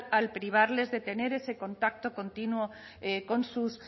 al privarles de tener ese contacto continuo con sus